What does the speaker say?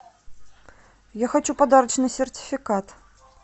я хочу подарочный сертификат